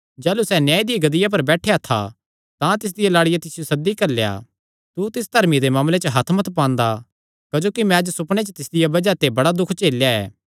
जाह़लू सैह़ न्याय दी गद्दिया पर बैठेया था तां तिसदिया लाड़िया तिसियो सद्दी घल्लेया तू तिस धर्मिये दे मामले च हत्थ मत पांदा क्जोकि मैं अज्ज सुपणे च तिसदिया बज़ाह ते बड़ा दुख झेलेया ऐ